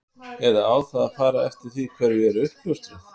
Eða á það að fara eftir því hverju er uppljóstrað?